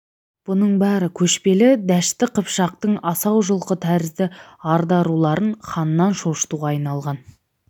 бұның бәрі көшпелі дәшті қыпшақтың асау жылқы тәрізді арда руларын ханнан шошытуға айналған